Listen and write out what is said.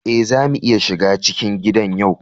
Eh, za mu iya shiga cikin gidan yau.